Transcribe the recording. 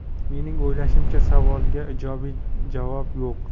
Mening o‘ylashimcha, savolga ijobiy javob yo‘q.